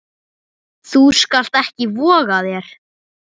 Þú skalt ekki voga þér!